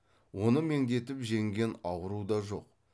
оны меңдетіп жеңген ауру да жоқ